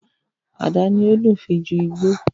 Ada ni ó dùn fii ju Igbó